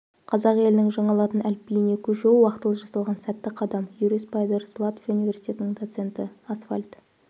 қазақ елінің жаңа латын әліпбиіне көшуі уақтылы жасалған сәтті қадам юрис пайдерс латвия университетінің доценті асфальт